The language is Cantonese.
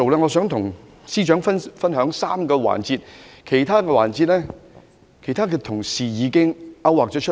我想跟司長分享3個環節，因為其他環節已由其他同事勾劃出來。